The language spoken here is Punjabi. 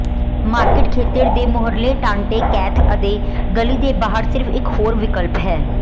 ਮਾਰਕੀਟ ਖੇਤਰ ਦੇ ਮੂਹਰਲੇ ਟਾਂਟੇ ਕੈਥ ਅਤੇ ਗਲੀ ਦੇ ਬਾਹਰ ਸਿਰਫ ਇਕ ਹੋਰ ਵਿਕਲਪ ਹੈ